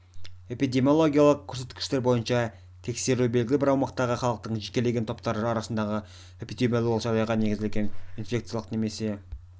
эпидемиологиялық көрсеткіштер бойынша тексеру белгілі бір аумақтағы халықтың жекелеген топтары арасындағы эпидемиологиялық жағдайға негізделген инфекциялық немесе